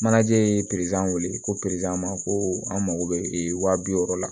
Manaje ye pezeli ko pere ma ko an mago bɛ waa bi wɔɔrɔ la